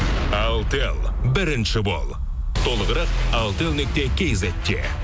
алтел бірінші бол толығырақ алтел нүкте кизетте